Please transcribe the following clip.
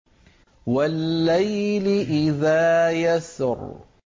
وَاللَّيْلِ إِذَا يَسْرِ